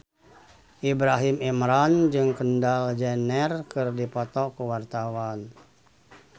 Ibrahim Imran jeung Kendall Jenner keur dipoto ku wartawan